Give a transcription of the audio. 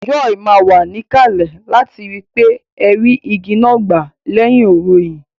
Joy má wa níkàlè láti ri wípé ẹ rí igi náà gbà lẹ́hìnọ̀rẹhìn